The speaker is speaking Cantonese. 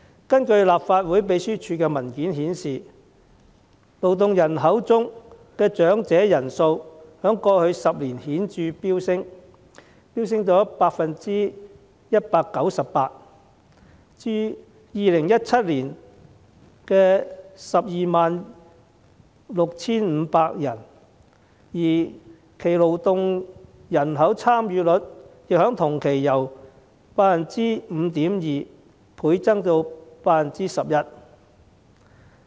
根據立法會秘書處的文件顯示，勞動人口中的長者人數在過去10年顯著飆升 198%， 至2017年的 126,500 人，而其勞動人口參與率亦在同期由 5.2% 倍增至 11%。